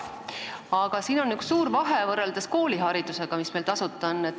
Aga siin on suur vahe võrreldes kooliharidusega, mis meil tasuta on.